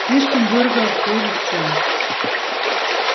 слишком дорого обходится